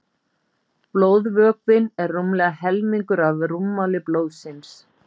Blóðvökvinn er rúmlega helmingur af rúmmáli blóðsins.